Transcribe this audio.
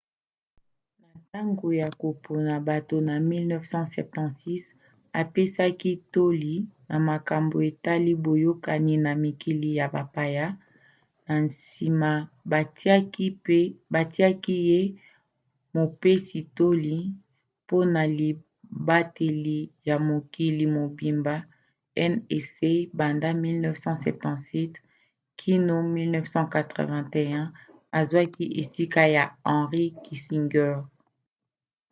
na ntango ya kopona bato na 1976 apesaki toli na makambo etali boyokani na mikili ya bapaya na nsima batiaki ye mopesi-toli mpona libateli ya mokili mobimba nsa banda 1977 kino 1981 azwaki esika ya henry kissinger